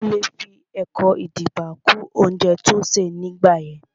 Adekunle fi ẹkan-idiba kún oúnjẹ tó ṣè ní gbà yẹn